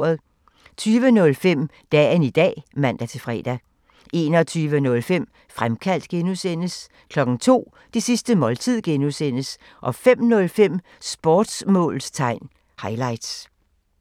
20:05: Dagen i dag (man-fre) 21:05: Fremkaldt (G) 02:00: Det sidste måltid (G) 05:05: Sportsmålstegn highlights